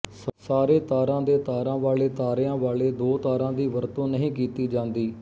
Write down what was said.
ਸਾਰੇ ਤਾਰਾਂ ਦੇ ਤਾਰਾਂ ਵਾਲੇ ਤਾਰਿਆਂ ਵਾਲੇ ਦੋ ਤਾਰਾਂ ਦੀ ਵਰਤੋਂ ਨਹੀਂ ਕੀਤੀ ਜਾਂਦੀ